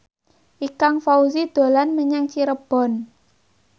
Ikang Fawzi dolan menyang Cirebon